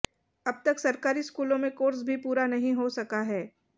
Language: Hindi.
अब तक सरकारी स्कूलों में कोर्स भी पूरा नहीं हो सका है